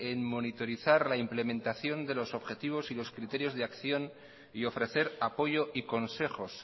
en monitorizar la implementación de los objetivos y los criterios de acción y ofrecer apoyo y consejos